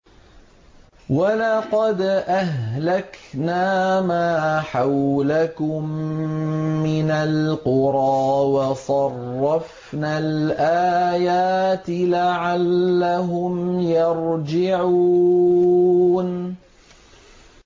وَلَقَدْ أَهْلَكْنَا مَا حَوْلَكُم مِّنَ الْقُرَىٰ وَصَرَّفْنَا الْآيَاتِ لَعَلَّهُمْ يَرْجِعُونَ